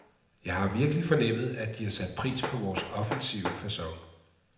Jeg har virkelig fornemmet, at de har sat pris på vores offensive facon.